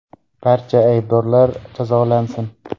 Barcha aybdorlar jazolansin.